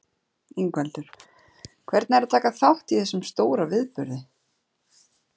Ingveldur: Hvernig er að taka þátt í þessum stóra viðburði?